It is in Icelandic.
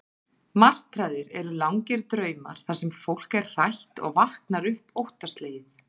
Martraðir eru langir draumar, þar sem fólk er hrætt og vaknar upp óttaslegið.